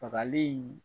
Fagali